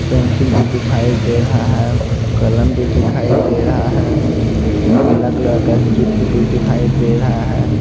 Pencil भी दिखाई दे रहा है कलम भी दिखाई दे रहा है पीला कलर का चित्र भी दिखाई दे रहा है।